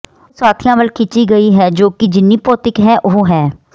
ਉਹ ਸਾਥੀਆਂ ਵੱਲ ਖਿੱਚੀ ਗਈ ਹੈ ਜੋ ਕਿ ਜਿੰਨੀ ਭੌਤਿਕੀ ਹੈ ਉਹ ਹੈ